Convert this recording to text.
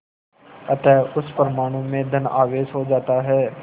अतः उस परमाणु में धन आवेश हो जाता है